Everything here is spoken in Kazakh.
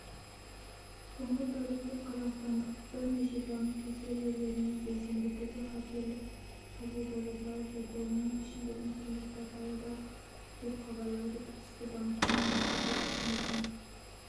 соңғы тәулікте қазақстандықбірнеше банктің серверлеріне белсенді түрде хакерлік шабуылдар жасалып жатыр оның ішінде интернет-порталы бар деп хабарлайды тілшісі банкінің баспасөз қызметіне